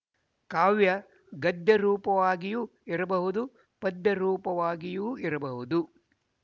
ಕಾವ್ಯ ಗದ್ಯರೂಪವಾಗಿಯೂ ಇರಬಹುದು ಪದ್ಯರೂಪವಾಗಿಯೂ ಇರಬಹುದು